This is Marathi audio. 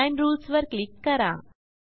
डिझाइन Rulesवर क्लिक करा